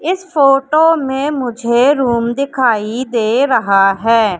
इस फोटो में मुझे रूम दिखाई दे रहा है।